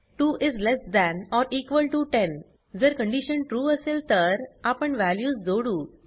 2 is less than or equal to 10 जर condition trueअसेल तर आपण वॅल्यूज जोडू